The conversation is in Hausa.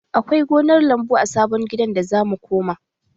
Akwai gonar lambu a sabon gidan da za mu koma